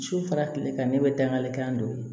Su fara tile kan ne bɛ dangarikan dɔ ye